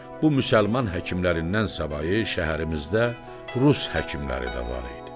Bu müsəlman həkimlərindən savayı şəhərimizdə rus həkimləri də var idi.